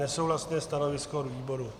Nesouhlasné stanovisko výboru.